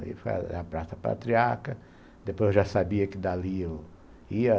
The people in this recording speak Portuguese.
Foi a Praça Patriarca, depois eu já sabia que dali eu ia.